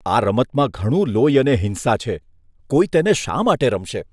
આ રમતમાં ઘણું લોહી અને હિંસા છે. કોઈ તેને શા માટે રમશે?